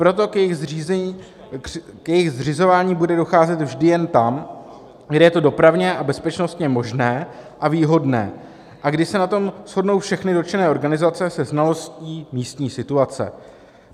Proto k jejich zřizování bude docházet vždy jen tam, kde je to dopravně a bezpečnostně možné a výhodné a kde se na tom shodnou všechny dotčené organizace se znalostí místní situace.